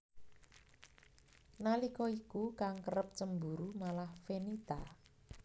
Nalika iku kang kerep cemburu malah Fenita